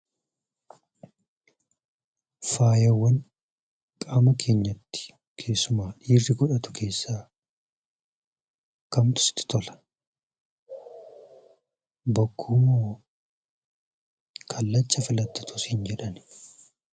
Faayawwan qaama keenyatti, keessumaa dhiirri godhatu keessaa kamtu sitti tola? Bokkuu moo kallacha filadhu otuu siin jedhanii?